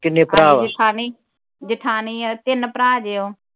ਜੇਠਾਣੀ ਜੇਠਾਣੀ ਆ ਤਿੰਨ ਭਰਾ ਜੇ ਓਹ